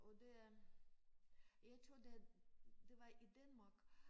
Og det er jeg tror det er det var i Danmark